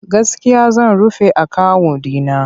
Gaskiya zan rufe akawun ɗi na.